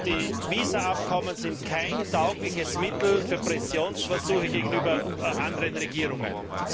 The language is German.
Die Visaabkommen sind kein taugliches Mittel für Pressionsversuche gegenüber anderen Regierungen